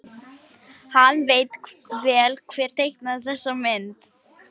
Hann veit vel hver teiknaði þessa mynd.